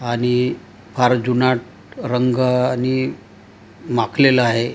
आणि फार जुनाट रंगांनी माखलेलं आहे.